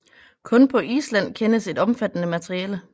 Kun på Island kendes et omfattende materiale